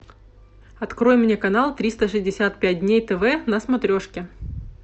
открой мне канал триста шестьдесят пять дней тв на смотрешке